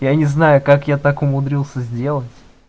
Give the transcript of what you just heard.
я не знаю как я так умудрился сделать